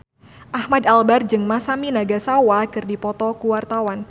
Ahmad Albar jeung Masami Nagasawa keur dipoto ku wartawan